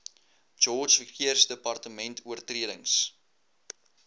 george verkeersdepartement oortredings